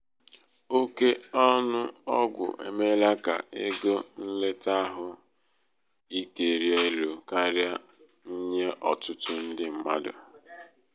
oke ọnụ ọgwụ emeela ka ego nleta ahụ ike rịa elu karịa nye ọtụtụ ndị mmadụ.